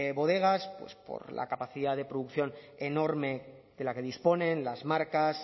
bodegas pues por la capacidad de producción enorme de la que disponen las marcas